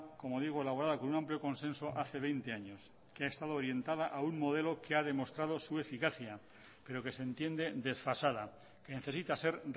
como digo elaborada con un amplio consenso hace veinte años que ha estado orientada a un modelo que ha demostrado su eficacia pero que se entiende desfasada que necesita ser